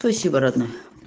спасибо родная